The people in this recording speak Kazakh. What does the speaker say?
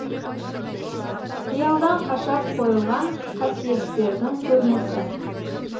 қиялдан қашап қойылған қасиеттердің көрмесі